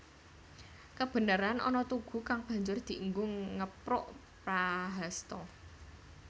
Kebeneran ana tugu kang banjur dienggo ngepruk Prahasta